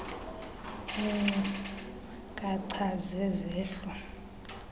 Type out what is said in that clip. iinkcu kacha zezehlo